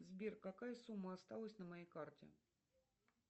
сбер какая сумма осталась на моей карте